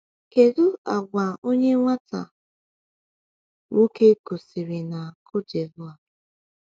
“Kedu àgwà onye nwata nwoke gosiri na Côte d’Ivoire?”